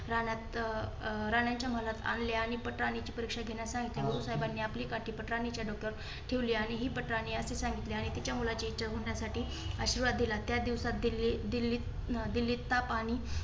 राणात अं अं राणा यांच्या महलात आणले आणि पटराणीची परीक्षा घेण्यात सांगितले. गुरु साहेबानी आपली काठी पटराणीच्या डोक्यावर आणि हि पटराणी आहे असे सांगितले आणि तिच्या मुलाची इच्छा होण्यासाठी आशीर्वाद दिला. त्या दिवसात दिल्ली अं दिल्ली च्या पाणी